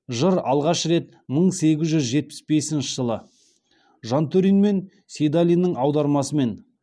жыр алғаш рет мың сегіз жүз жетпіс бесінші жылы жантөрин мен сейдалиннің аудармасымен